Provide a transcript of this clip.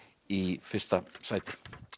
í fyrsta sæti